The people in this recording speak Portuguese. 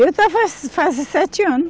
Eu fazer sete anos.